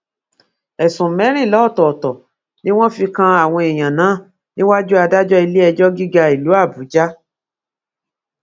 ẹsùn mẹrìnlá ọtọọtọ ni wọn fi kan àwọn èèyàn náà níwájú adájọ iléẹjọ gíga ìlú àbújá